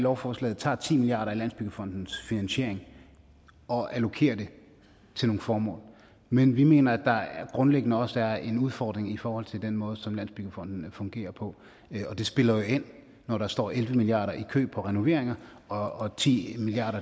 lovforslaget tager ti milliard kroner af landsbyggefondens finansiering og allokerer dem til nogle formål men vi mener at der grundlæggende også er en udfordring i forhold til den måde som landsbyggefonden fungerer på og det spiller jo ind når der står elleve milliard kroner i kø på renoveringer og ti milliard